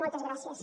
moltes gràcies